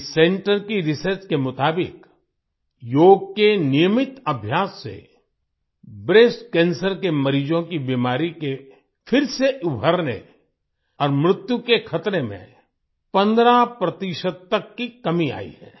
इस सेंटर की रिसर्च के मुताबिक योग के नियमित अभ्यास से ब्रेस्ट कैंसर के मरीजों की बीमारी के फिर से उभरने और मृत्यु के खतरे में 15 प्रतिशत तक की कमी आई है